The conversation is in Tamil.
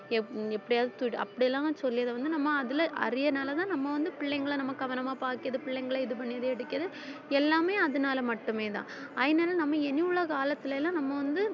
எப்~ எப்படியாவது தூக்கிட்டு~ அப்படியெல்லாம் சொல்லி அதை வந்து நம்ம அதுல அரியனாலதான் நம்ம வந்து நம்ம கவனமா பாக்குது பிள்ளைங்களை இது பண்ணி ரெடி அடிக்குது எல்லாமே அதுனால மட்டுமே தான் அதனால நம்ம இனியுள்ள காலத்துல எல்லாம் நம்ம வந்து